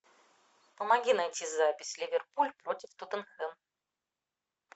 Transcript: помоги найти запись ливерпуль против тоттенхэм